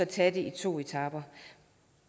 tage det i to etaper